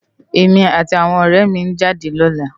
Emi áti áwòn òrè mi n jádè lòlá